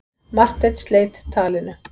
Marteinn sleit talinu.